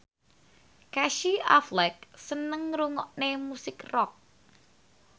Casey Affleck seneng ngrungokne musik rock